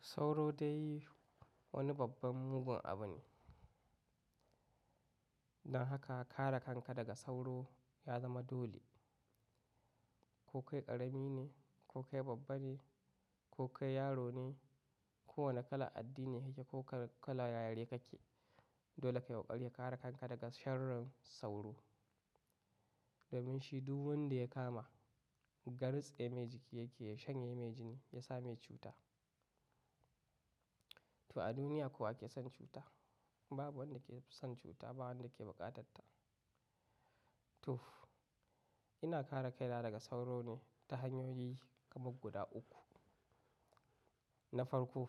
Sauro dai wani babban mugun abu ne. Don haka kare kanka daga sauro ya zama dole. Ko kai ƙarami ne, ko kai babba ne, ko kai yaro ne, ko wane kala addini kake ko kala yare kake, dole ka yi ƙoƙari ka kare kanka daga sharrin sauro. Domin shi duk wanda ya kama, ga ritse mai jiki yake, ya shan ye mai jini ya sa mai cuta. To a duniya ko wake son cuta? Babu wanda ke son cuta, ba wanda ke buƙatar ta. To, ina kare kaina daga sauro ne ta hanyoyi kamar guda uku. Na farko,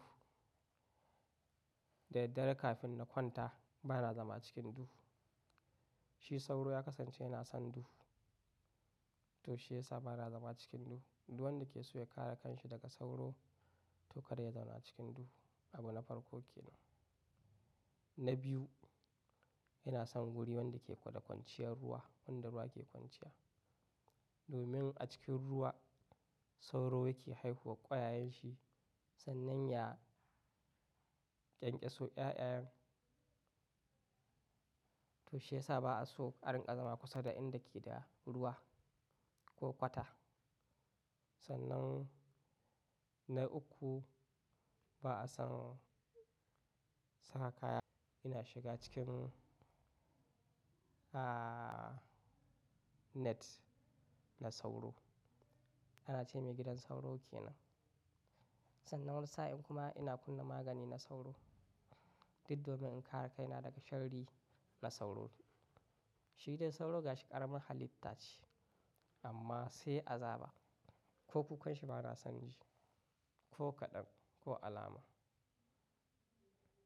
da daddare kafin na kwanta bana zama cikin duhu. Shi sauro ya kasance yana son duhu, to shi ya sa bana zama cikin duhu. Duk wanda ke so ya kare kanshi daga sauro, to kar ya zauna cikin duhu. Abu na farko ke nan. Na biyu, ina son guri wanda ke da kwanciyar ruwa, wanda ruwa ke kwanciya. Domin a cikin ruwa sauro yake haihuwa ƙwayayen shi sannan ya ƙyanƙyaso ƴaƴan. To shi ya sa ba'a so a rinƙa zama kusa da inda ke da ruwa ko kwata. Sannan na uku, ba'a son saka kaya ina shiga cikin, ah, net na sauro. Ana ce mai gidan sauro ke nan. Sannan wani sa'in kuma ina kunna magani na sauro. Duk domin in kare kaina daga sharri na sauro. Shi dai sauro gashi ƙaramin halitta ce amma sai azaba. Ko kukan shi bana son ji, ko kaɗan, ko alama.